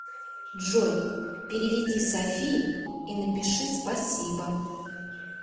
джой переведи софии и напиши спасибо